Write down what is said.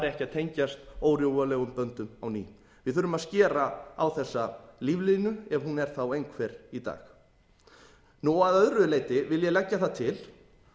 að tengjast órjúfanlegum böndum á ný við þurfum að skera á þessa líflínu ef hún er þá einhver í dag að öðru leyti vil ég leggja það til